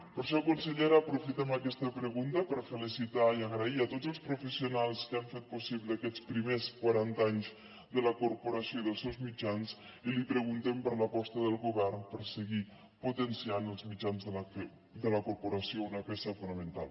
per això consellera aprofitem aquesta pregunta per felicitar i donar les gràcies a tots els professionals que han fet possible aquests primers quaranta anys de la corporació i dels seus mitjans i li preguntem per l’aposta del govern per seguir potenciant els mitjans de la corporació una peça fonamental